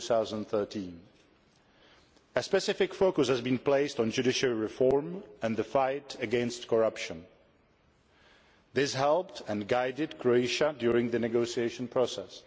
2013. A specific focus has been placed on judiciary reform and the fight against corruption. This helped and guided Croatia during the negotiation process.